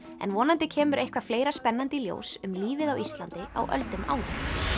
en vonandi kemur eitthvað fleira spennandi í ljós um lífið á Íslandi á öldum áður